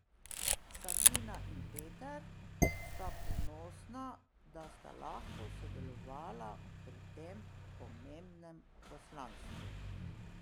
Sabina in Peter sta ponosna, da sta lahko sodelovala pri tem pomembnem poslanstvu.